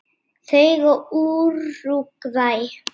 Þau og Úrúgvæ.